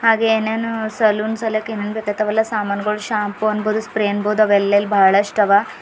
ಹಾಗೆ ಏನೇನ ಸಲೂನ್ ಸಲ್ಕ್ ಹೆಂಗ್ ಬರತ್ತಾದ್ ವಲ್ಲಾ ಸಮಾನಗಳು ಶಂಪೋ ಅನ್ಬೋದು ಸ್ಪ್ರೇ ಅನ್ಬೋದು ಅವ ಎಲ್ಲೆಲ್ ಬಹಳಷ್ಟ ಅವ.